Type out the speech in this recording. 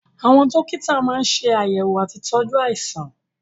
Àwọn dókítà máa ń ṣe àyẹ̀wò àti ìtọ́jú àìsàn